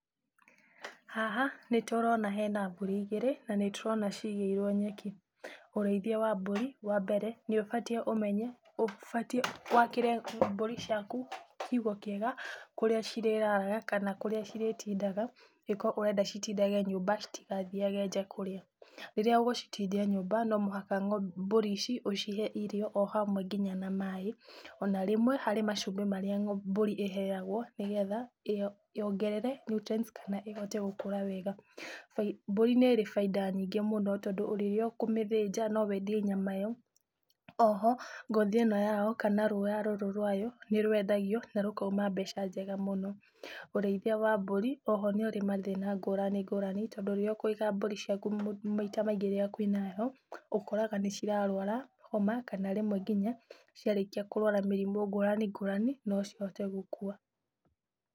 Haha nĩ tũrona hena mbũri igĩrĩ na nĩtũrona cigĩirwo nyeki. Ũrĩithia wa mbũri, wambere nĩ ũbatiĩ ũmenye ũbatiĩ wakĩre mbũri ciaku kiugu kĩega kũrĩa cirĩraraga kana kũrĩa cirĩtindaga, ingĩkorwo ũrenda citindage nyũmba citigathiage nja kũrĩa. Rĩrĩa ũgũcitindia nyũmba, no mũhaka mbũri ici ũcihe irio o hamwe nginya na maĩ, ona rĩmwe, harĩ macumbĩ marĩa mbũri iheagwo nĩgetha yongerere nutrients kana ĩhote gũkũra wega. Mbũri nĩ ĩrĩ bainda nyingĩ mũno tondũ rĩrĩa ũkũmĩthĩnja no wendie nyama ĩyo. Oho, ngothi ĩno yao kana rũũa rũrũ rwayo, nĩ rwendagio na rũkauma mbeca njega mũno. Ũrĩithia wa mbũri, oho nĩ ũrĩ mathĩna ngũrani ngũrani tondũ rĩrĩa ũkũiga mbũri ciaku, maita maingĩ rĩrĩa kwĩna heho, ũkoraga nĩ cirarwara homa kana rĩmwe nginya ciarĩkia kũrwara mĩrimũ ngũrani ngũrani, no cihote gũkua.